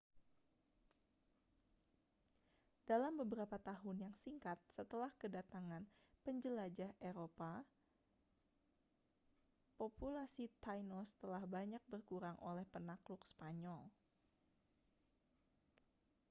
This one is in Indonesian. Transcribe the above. dalam beberapa tahun yang singkat setelah kedatangan penjelajah eropa populasi tainos telah banyak berkurang oleh penakluk spanyol